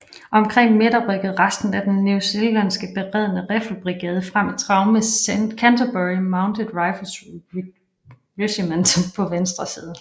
Omkring middag rykkede resten af den newzealandske beredne riffelbrigade frem i trav med Canterbury Mounted Rifles Regiment på venstre side